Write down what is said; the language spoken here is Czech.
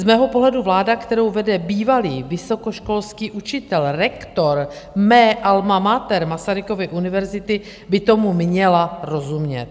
Z mého pohledu vláda, kterou vede bývalý vysokoškolský učitel, rektor mé alma mater, Masarykovy univerzity, by tomu měla rozumět.